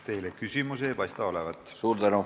Teile küsimusi ei paista olevat.